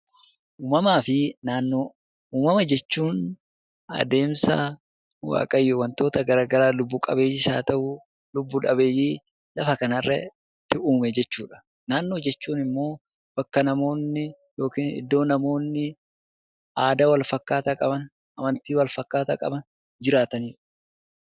Uumamaa fi naanoo. Uumama jechuun adeemsa Waaqayyo wantoota garaa garaa lubbu qabeeyyiis haa ta'uu ;lubbu maleeyyii lafa kana irratti uume jechuudha. Naannoo jechuun immoo bakka namoonni yookiin iddoo namoonni aadaa walfakkaataa qaban, amantii wal fakkaataa qaban jiraataniidha.